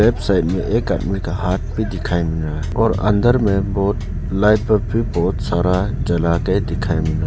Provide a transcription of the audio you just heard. Side में एक आदमी का हाथ भी दिखाई मिल रहा है और अंदर में बहुत लाइट लोग भी बहुत सारा जला के दिखाई मिल रहा।